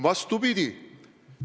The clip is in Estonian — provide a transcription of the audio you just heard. Vastupidi.